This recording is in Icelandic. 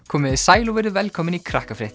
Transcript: komiði sæl og verið velkomin í